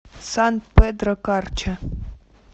сан педро карча